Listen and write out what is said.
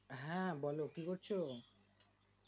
হ্যাঁ বলো কি করছো